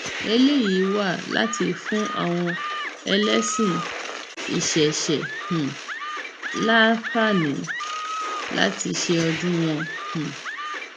eléyìí wá láti fún àwọn ẹlẹsìn ìṣẹṣẹ um láǹfààní láti ṣe ọdún wọn um